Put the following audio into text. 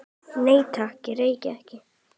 Nei, takk, ég reyki ekki